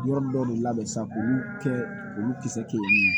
Yɔrɔ dɔ de labɛn sisan k'olu kɛ olu kisɛ kelen